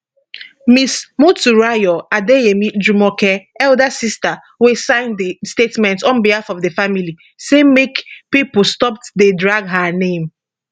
ms motunrayo adeyemi jumoke eldest sister wey sign di statement on behalf of di family say make pipo stop dey drag her name